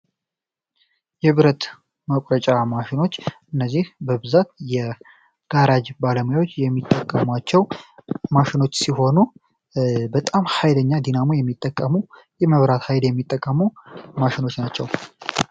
የብረት መቁረጫ ማሽኖች እነዚህ በብዛት የጋራጅ ባለሙያዎች የሚጠቅማቸው ማሸኖች ሲሆኑ፤ በጣም ሀይለኛ ዲናሞ የሚጠቀሙ የመብራት ኃይል የሚጠቀሙ ማሽኖች ናቸው።